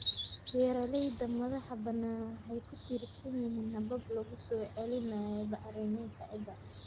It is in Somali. Beeralayda madaxa banaan waxay ku tiirsan yihiin habab lagu soo celinayo bacriminta ciidda.